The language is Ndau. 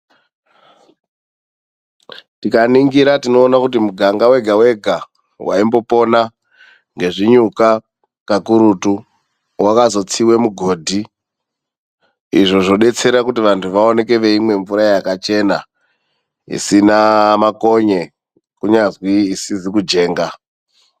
Tikaningira tinoona kuti muganga wegawega waimbopona ngezvinyuka kakurutu, wazokotsiwe mugodhi izvo zvodetsera kuti vantu vaoneke veimwe mvura yakachena isina makonye kunyazwi isizi kujenga.